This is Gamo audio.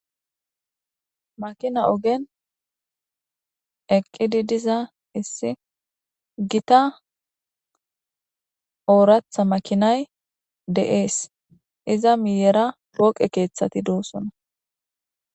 Makina ogen aqqidi diza issi gita ooraththamakinay dees. Iza miyera poqe keethati doosona